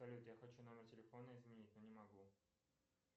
салют я хочу номер телефона изменить но не могу